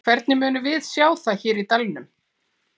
Hvernig munum við sjá það hér í dalnum?